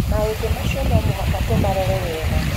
maũndũ macio no mũhaka tũmarore wega